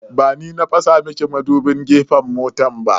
Ba ni na fasa miki madubin gefen mota ba.